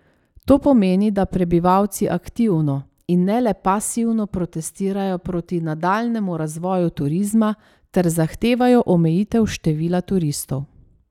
To pomeni, da prebivalci aktivno, in ne le pasivno protestirajo proti nadaljnjemu razvoju turizma ter zahtevajo omejitev števila turistov.